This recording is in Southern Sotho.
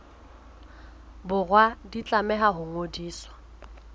borwa di tlameha ho ngodiswa